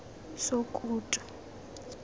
sokutu